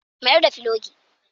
Mayar da filogi.